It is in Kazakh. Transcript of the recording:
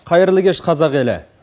қайырлы кеш қазақ елі